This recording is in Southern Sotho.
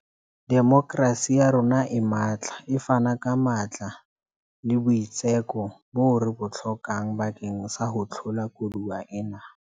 Demokerasi ya rona e matla e fana ka matla le boitseko boo re bo hlokang bakeng sa ho hlola koduwa ena.